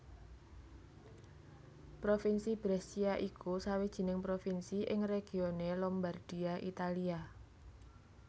Provinsi Brescia iku sawijining Provinsi ing regione Lombardia Italia